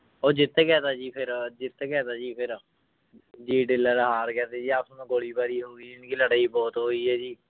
ਉਹ ਜਿੱਤ ਗਿਆ ਤਾਂ ਜੀ ਫਿਰ ਜਿੱਤ ਗਿਆ ਤਾਂ ਜੀ ਫਿਰ ਹਾਰ ਗਿਆ ਤੇ ਜੀ ਨੂੰ ਗੋਲੀ ਬਾਰੀ ਹੋ ਗਈ ਜਾਣੀ ਕਿ ਲੜਾਈ ਬਹੁਤ ਹੋਈ ਹੈ ਜੀ।